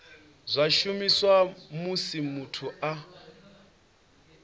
zwa shumiswa musi muthu a